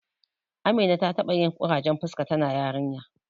Amina ta taɓa yin ƙurajen fuska tana yarinya.